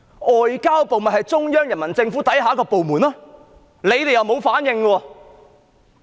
外交部是中央人民政府之下的一個部門，特區政府卻沒有反應。